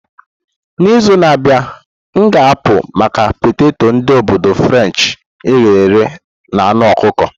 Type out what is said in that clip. N'izu na-abịa, m ga-apụ maka peteto ndi obodu Frenshi eghere eghe na anu ọkụkọ.